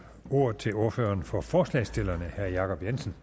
ordet til ordføreren for forslagsstillerne herre jacob jensen